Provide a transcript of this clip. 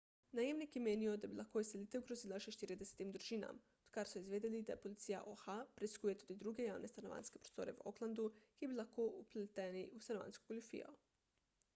najemniki menijo da bi lahko izselitev grozila še 40 družinam odkar so izvedeli da policija oha preiskuje tudi druge javne stanovanjske prostore v oaklandu ki bi lahko bili vpleteni v stanovanjsko goljufijo